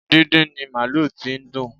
Díndín ni màlúù tí dùn